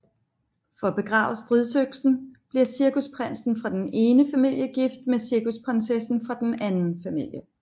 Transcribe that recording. For at begrave stridøksen bliver cirkusprinsen fra den ene familie gift med cirkusprinsessen fra den anden familie